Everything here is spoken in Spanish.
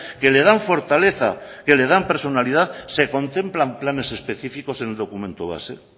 que le dan fortaleza que le dan personalidad se contemplan planes específicos en el documento base